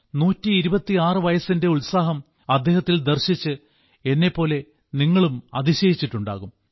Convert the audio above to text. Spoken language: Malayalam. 126 വയസ്സിന്റെ ഉത്സാഹം അദ്ദേഹത്തിൽ ദർശിച്ച് എന്നെപ്പോലെ നിങ്ങളും അതിശയിച്ചിട്ടുണ്ടാകും